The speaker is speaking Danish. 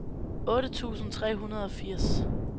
otte tusind tre hundrede og firs